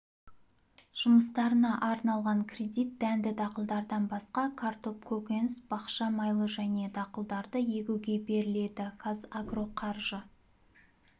жұмыстарына арналған кредит дәнді дақылдардан басқа картоп көкөніс-бақша майлы және дақылдарды егуге беріледі қазагро қаржы